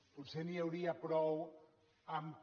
potser n’hi hauria prou que